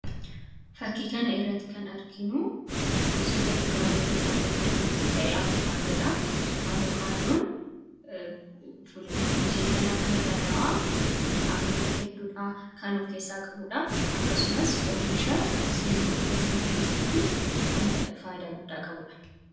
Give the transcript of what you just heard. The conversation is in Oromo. Fakkii kana irratti kan arginu gosoota fuduraalee keessaa tokko kan ta'e avokaadoodha. Avokaadoon miseensa nyaata madaalawaa vitaaminoota hedduudha kan of keessaa qabudha. Akkasumas oomisha seelii dhiiga diimaa keessatti kan faayidaa guddaa qabuudha.